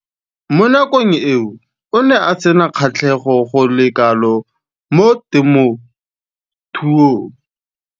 Mo nakong eo o ne a sena kgatlhego go le kalo mo temothuong.